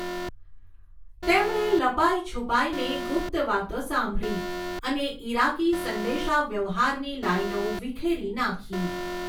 તેમણે લપાઈ છુપાઈને ગુપ્ત વાતો સાંભળી અને ઇરાકી સંદેશાવ્યવહારની લાઇનો વિખેરી નાખી.